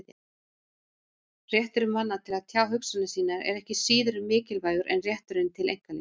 Réttur manna til að tjá hugsanir sínar er ekki síður mikilvægur en rétturinn til einkalífs.